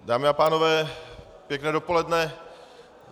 Dámy a pánové, pěkné dopoledne.